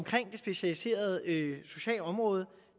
det specialiserede socialområde